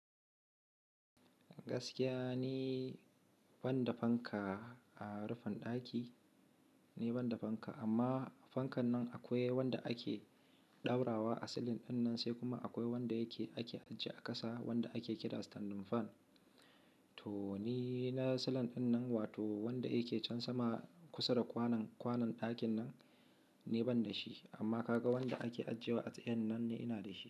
Gaskiya ni, banda fanka a rufin ɗaki, ni ban da fanka, amma fankan nan akwai wanda ake ɗaurawa a silin ɗin nan, sai kuma akwai wanda yake ake ajiye a ƙasa, wanda ake kira standing fan. To, ni na silin ɗinnan, wato wnda yake cen sama kusa da kwanon, kwanon ɗakinnan ni ban da shi, amma kaga wanda ake ajiyewa a tsayennan ne ina da shi.